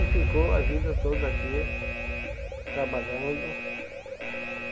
E ficou a vida toda aqui, trabalhando.